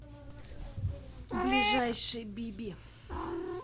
ближайший биби